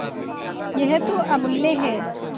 यह तो अमुल्य है